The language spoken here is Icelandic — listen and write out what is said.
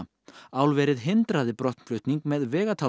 álverið hindraði brottflutning með